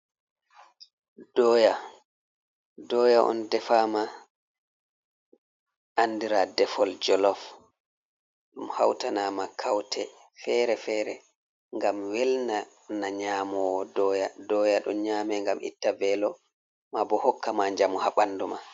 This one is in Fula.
doya on defama andira defol jolof, ɗum hautanama kaute fere-fere ngam welna na nyamowo doya, doya ɗo nyame ngam itta velo ma bo hokka ma jamu ha ɓandu ma.